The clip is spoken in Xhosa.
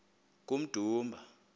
kummdumba